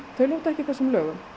þau lúta ekki þessum lögum